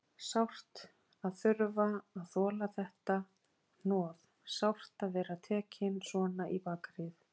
Sárt að þurfa að þola þetta hnoð, sárt að vera tekinn svona í bakaríið.